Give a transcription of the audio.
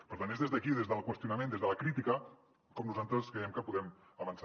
per tant és des d’aquí des del qüestionament des de la crítica com nosaltres creiem que podem avançar